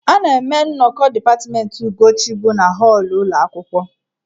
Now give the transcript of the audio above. A na-eme nnọkọ dipatmentị Ugochi bụ na họọlụ ụlọ akwụkwọ..